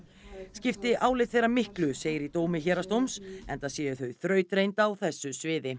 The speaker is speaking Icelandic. skipti álit þeirra miklu segir í dómi héraðsdóms enda séu þau þrautreynd á þessu sviði